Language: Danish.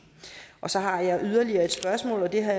så har jeg yderligere et spørgsmål det har